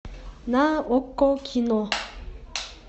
на окко кино